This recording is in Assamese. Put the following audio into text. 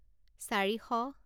চাৰিশ